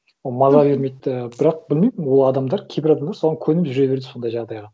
ол маза бермейді і бірақ білмеймін ол адамдар кейбір адамдар соған көніп жүре береді сондай жағдайға